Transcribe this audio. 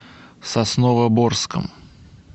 сосновоборском